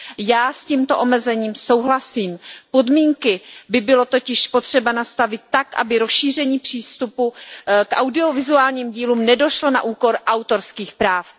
Já s tímto omezením souhlasím. Podmínky by bylo totiž potřeba nastavit tak, aby k rozšíření přístupu k audiovizuálním dílům nedošlo na úkor autorských práv.